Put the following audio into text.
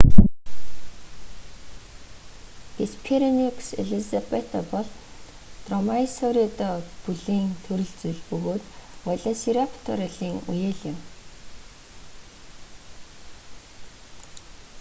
геспероникус элизабета бол дромаеосауридэ бүлийн төрөл зүйл бөгөөд велосирапторын үеэл юм